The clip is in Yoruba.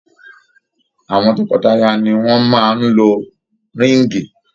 Awọn tọkọtaya ni wọn maa n lo ríìngì.